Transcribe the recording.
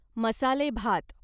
मसालेभात